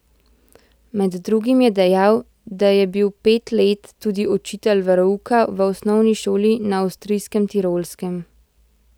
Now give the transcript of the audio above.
Med drugim je dejal, da je bil pet let tudi učitelj verouka v osnovni šoli na avstrijskem Tirolskem.